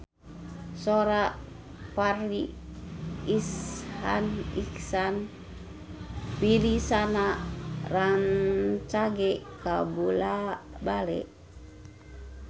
Sora Farri Icksan Wibisana rancage kabula-bale